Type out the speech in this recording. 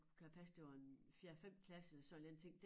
Kan det passe det var en fjerde 5 klasse sådan en eller anden ting